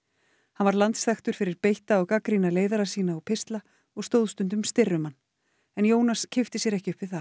hann var landsþekktur fyrir beitta og gagnrýna leiðara sína og pistla og stóð stundum styrr um hann en Jónas kippti sér ekki upp við það